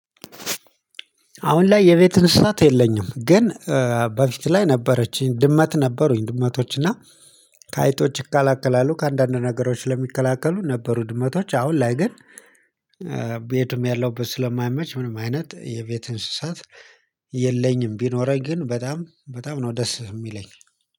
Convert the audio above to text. አሁን ላይ የቤት እንስሳት የለኝም። ግን በፊት ላይ ነበረችኝ ድመት ነበሩኝ ድመቶች እና ከአይጦች ይከላከላሉ ከአንዳንድ ነገሮች ለሚከላከሉ ነበሩ ድመቶች። አሁን ላይ ግን ያለውበት ስለማይመች ምንም አይነት የቤት እንስሳት የለኝም። ቢኖረኝ ግን በጣም በጣም ነው ደስ የሚለኝ።